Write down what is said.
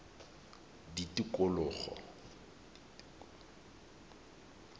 tikologo